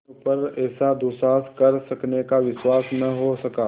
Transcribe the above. अपने ऊपर ऐसा दुस्साहस कर सकने का विश्वास न हो सका